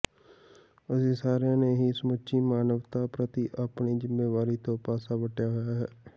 ਅਸੀਂ ਸਾਰਿਆਂ ਨੇ ਹੀ ਸਮੁੱਚੀ ਮਾਨਵਤਾ ਪ੍ਰਤੀ ਆਪਣੀ ਜ਼ਿੰਮੇਵਾਰੀ ਤੋਂ ਪਾਸਾ ਵੱਟਿਆ ਹੋਇਆ ਹੈ